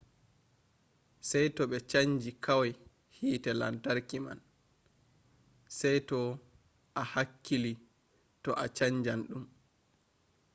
sai to ɓe chanji kwai hite lantarki man. sai to a hakkili to a chanjan ɗum